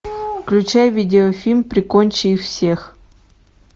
включай видеофильм прикончи их всех